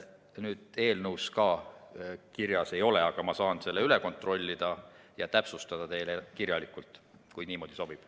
Seda eelnõus kirjas ei ole, aga ma saan selle üle kontrollida ja täpsustada ning saata teile kirjalikult, kui niimoodi sobib.